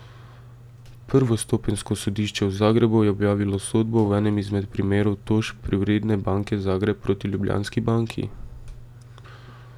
Prvostopenjsko sodišče v Zagrebu je objavilo sodbo v enem izmed primerov tožb Privredne banke Zagreb proti Ljubljanski banki.